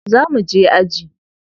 Zo mu je aji.